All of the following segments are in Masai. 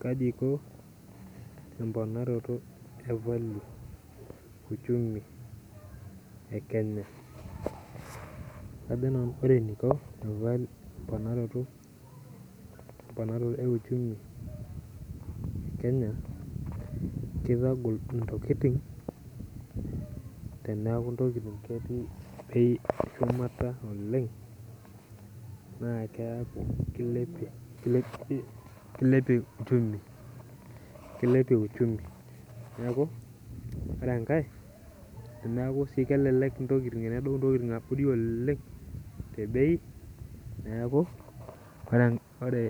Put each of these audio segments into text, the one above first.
Kaji iko emponaro ashu ekenya kajo nanu ore eniko emponaroto euchumi ekenya kitagol ntokitin teneaku ketii ntokitin sgumata oleng neaku kilepie uchumi neaku ore enkae tenedou ntokitin abori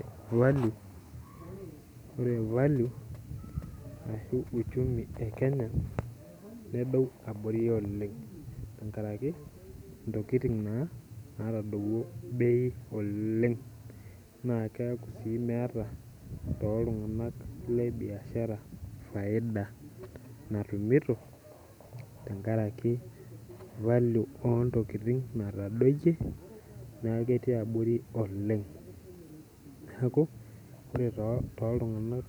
ore uchumi e kenya nedou abori oleng tenkaraki ntokitin natodowuo bei oleng neaku keeta ltunganak fiada natumito tenkaraki falue ontokitin natadoyie oleng neaku ore toltunganak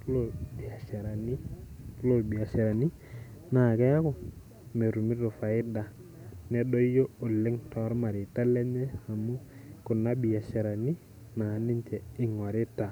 lombiasharani na keaku metumito faida nedoyio oleng tormareita lenye amu kuna biasharani ingurita